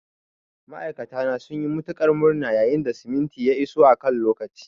Ma'aikata na sun yi matuƙar murna yayin da simintin ya iso a kan lokaci.